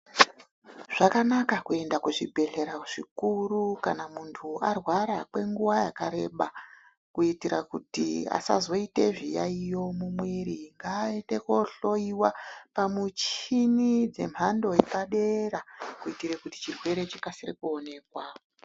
Zvakanaka kuenda kuzvibhedhlera zvikuru kana arwra kwenguva yakareba. Kuitira kuti asazoite zviyaiyo mumwiri. Ngaaende koohloyiwa pamuchini dzemhando yepadera kuitire kuti chirwere chikasire kuonekwa.